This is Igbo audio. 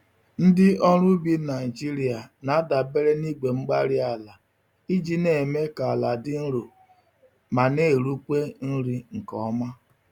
Ndị ọrụ ubi Nigeria na-adabere na igwe-mgbárí-ala iji némè' ka àlà dị nro ma n'erukwa nri nke ọma